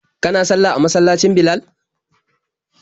Kana sallah a masallacin Bilal?